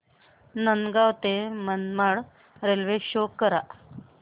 नांदगाव ते Manmad railway show करा